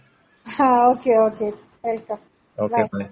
ആ okay okay welcome by.